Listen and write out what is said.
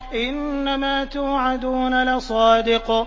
إِنَّمَا تُوعَدُونَ لَصَادِقٌ